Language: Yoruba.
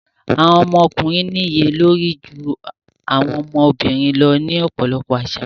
Àwọn ọmọkùnrin níye lórí ju àwọn ọmọbìnrin lọ ní ọ̀pọ̀lọpọ̀ àṣà.